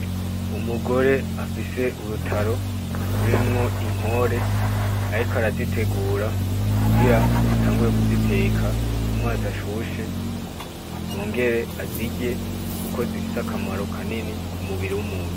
Umugore afise urutaro turimwo inkore, ariko arazitegura kugira atangure kuziteka mumazi ashushe yongere azirye kuko zifise akamaro kanini kumubiri w'umuntu.